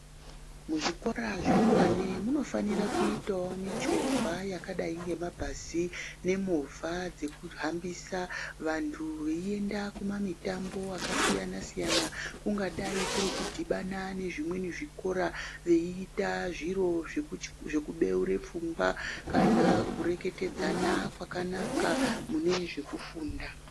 Muzvikora zvekuwane munofanire kuitawo michovha yakadai nebhazi nemovha dzekuhambisa vantu veiende kumamitambo akasiyana-siyana kungadai kuri kudhibana nezvimweni zvikora veita zviro zvekubeura pfungwa kana kureketedzana kwakanaka mune zvekufunda.